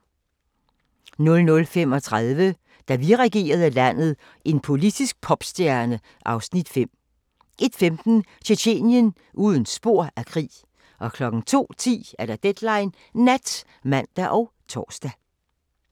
00:35: Da vi regerede landet – en politisk popstjerne (Afs. 5) 01:15: Tjetjenien – uden spor af krig 02:10: Deadline Nat (man og tor)